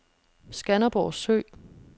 Skanderborg Sø